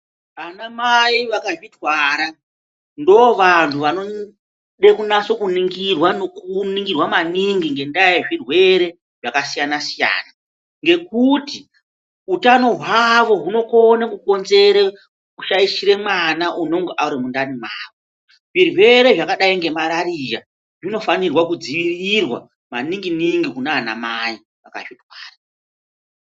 Ana mai akazvitwara, ndivo vantu vanode kunase kuningira nokuningirwa maningi, ngendaa yezvirwere zvakasiyana-siyana, ngekuti utano hwavo hunokone kukonzere kushaishira mwana unonga arimundani mwavo. Zvirwere zvakadai ngemararia zvinofanirwe kudziirirwa maninginingi kuna ana mai akazvitwara.